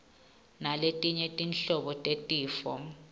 naletinye tinhlobo tetifo